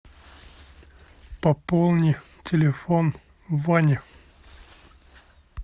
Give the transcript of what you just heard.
пополни телефон вани